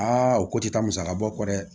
o ko ti taa musaka bɔ dɛ